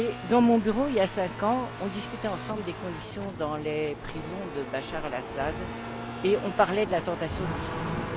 Dans mon bureau, il y a cinq ans, nous discutions ensemble des conditions dans les prisons de Bachar al Assad et nous parlions de la tentation du suicide.